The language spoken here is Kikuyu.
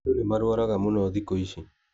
Andũ nĩmarwaraga mũno thĩkũ ici.